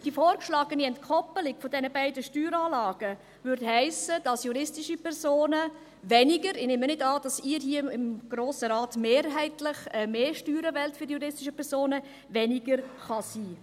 Die vorgeschlagene Entkoppelung der beiden Steueranlagen würde heissen, dass juristische Personen – ich nehme nicht an, dass Sie hier im Grossen Rat mehrheitlich mehr Steuern für die juristischen Personen wollen – weniger kann sein.